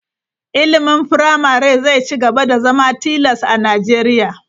Ilimin firamare zai ci gaba da zama tilas a Najeriya.